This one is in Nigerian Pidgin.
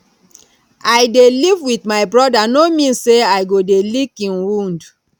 i dey live with my brother no mean say i go dey lick im wound